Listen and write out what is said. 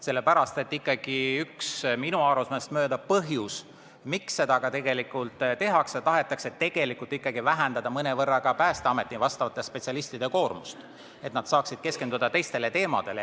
Minu arusaamist mööda on üks põhjus, miks seda teha soovitakse, see, et tahetakse mõnevõrra vähendada Päästeameti spetsialistide koormust, et nad saaksid keskenduda teistele teemadele.